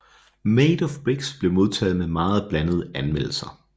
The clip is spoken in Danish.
Made of Bricks blev modtaget med meget blandede anmeldelser